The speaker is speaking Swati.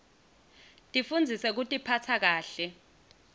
tifundzise kutiphatsa kahle